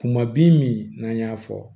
Kuma bin min n'an y'a fɔ